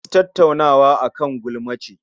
Wasu Tattaunawa akan gulma ce